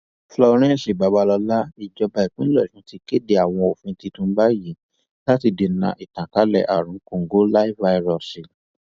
florence babasola ìjọba ìpínlẹ ọsún ti kéde àwọn òfin titun báyìí láti dènà ìtànkálẹ àrùn kòǹgóláfàíróòsì